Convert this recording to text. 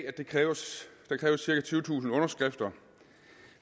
at der kræves cirka tyvetusind underskrifter